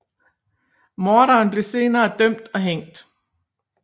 Morderen blev senere dømt og hængt